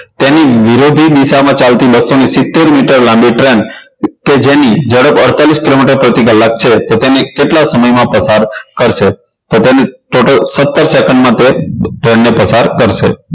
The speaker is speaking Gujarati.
તેની વિરોધી દિશામાં ચાલતી બસો ને સિત્તેર મીટર લાંબી train કે જેની ઝડપ અડતાલીસ કિલોમીટર પ્રતિ કલાક છે તો તેને કેટલા સમયમાં પસાર કરશે તો તેને total સત્તર સેકન્ડ માં તે train ને પસાર કરશે